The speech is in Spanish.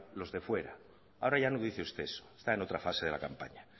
los de fuera ahora ya no dice usted eso está en otra fase de la campaña